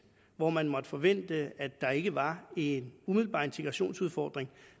hvor man måtte forvente at der ikke var en umiddelbar integrationsudfordring